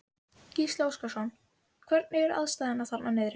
Gísli Óskarsson: Hvernig eru aðstæður þarna niðri?